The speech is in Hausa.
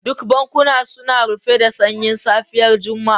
Duk bankuna suna rufe da sanyin safiyar Juma'a.